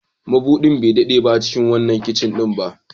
Mabudin bai daɗe a cikin wannan kicin ɗin ba.